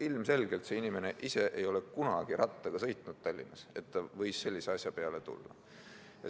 Ilmselgelt see inimene ise ei ole kunagi Tallinnas rattaga sõitnud, et ta suutis sellise asja peale tulla.